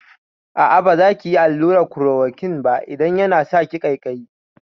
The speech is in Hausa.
A'a, baza ki iya yin allurar klorokwin ba idan yana saki ƙaiƙaiyi.